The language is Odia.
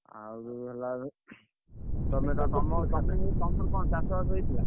ଆଉ ଯୋଉ ହେଲା